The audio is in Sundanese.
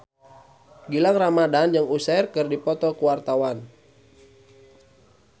Gilang Ramadan jeung Usher keur dipoto ku wartawan